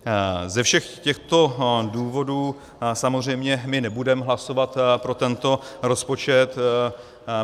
Ze všech těchto důvodů samozřejmě my nebudeme hlasovat pro tento rozpočet.